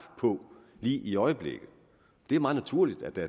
på lige i øjeblikket det er meget naturligt at der